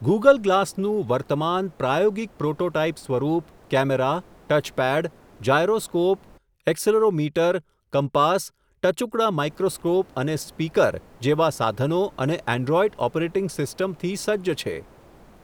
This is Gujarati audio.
ગુગલ ગ્લાસનું વર્તમાન, પ્રાયોગિક પ્રોટોટાઇપ સ્વરૂપ camera, touch pad, gyroscope accelerometer, compass, ટચુકડાં માઈક્રોસ્કોપ અને સ્પીકર, જેવાં સાધનો અને એન્ડ્રોઇડ ઓપરેટીંગસિસ્ટમથી સજજ છે.